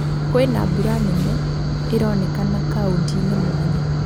Kwĩna mbura nene ĩronekana Kauntĩ-ĩnĩ mwanya